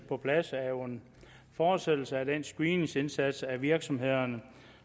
på plads er jo en fortsættelse af den screeningsindsats af virksomhederne